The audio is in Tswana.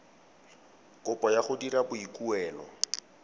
kopo ya go dira boikuelo